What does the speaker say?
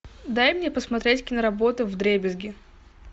дай мне посмотреть киноработу вдребезги